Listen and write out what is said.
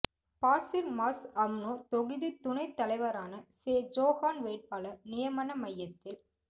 Pasir Mas UMNO தொகுதித் துணைத் தலைவரான சே ஜோஹான் வேட்பாளர் நியமன மய்யத்தில்